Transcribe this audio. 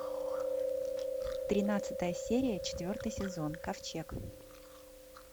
тринадцатая серия четвертый сезон ковчег